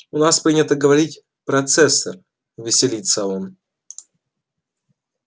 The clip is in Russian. у нас принято говорить процессор веселится он